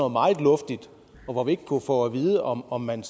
meget luftigt og vi kunne ikke få at vide om om man